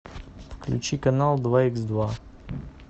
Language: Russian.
включи канал два икс два